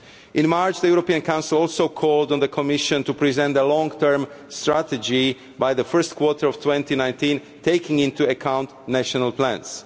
In March the European Council also called on the Commission to present a long term strategy by the first quarter of 2019, taking into account national plans.